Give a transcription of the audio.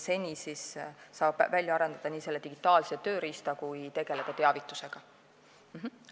Seni saab välja arendada digitaalse tööriista ja tegeleda teavitusega.